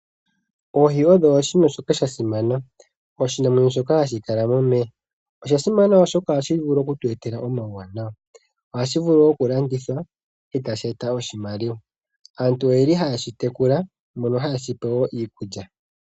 Oohi odho shimwe shoka shasimana. Oshinamwenyo shoka hashi kala momeya. Oshasimana oshoka ohashi vulu okutu etela omauwanawa . Ohashi vulu okulandithwa etashi eta oshimaliwa. Aantu oyeli haye shi tekula, mbono hayeshi pe wo iikulya.